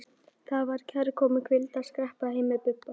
Það var kærkomin hvíld að skreppa heim með Bibba.